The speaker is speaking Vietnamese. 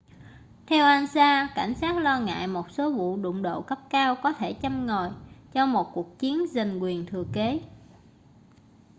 theo ansa cảnh sát lo ngại một số vụ đụng độ cấp cao có thể châm ngòi cho một cuộc chiến giành quyền thừa kế